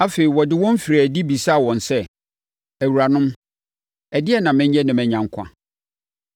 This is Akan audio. Afei, ɔde wɔn firii adi bisaa wɔn sɛ, “Awuranom, ɛdeɛn na menyɛ na manya nkwa?”